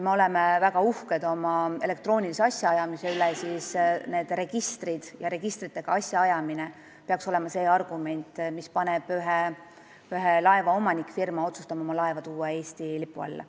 Me oleme väga uhked oma elektroonilise asjaajamise üle ning need registrid ja registritega seotud asjaajamine peaks olema see argument, mis paneb ühe laeva omanikfirma otsustama, et ta toob oma laeva Eesti lipu alla.